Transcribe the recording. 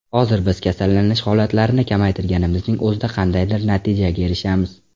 Hozir biz kasallanish holatlarini kamaytirganimizning o‘zida qandaydir natijaga erishamiz.